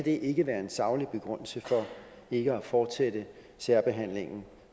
ikke være en saglig begrundelse for ikke at fortsætte særbehandlingen